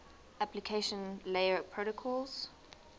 application layer protocols